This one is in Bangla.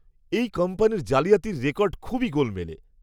এই কোম্পানির জালিয়াতির রেকর্ড খুবই গোলমেলে!